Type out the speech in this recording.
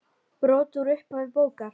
Brot úr upphafi bókar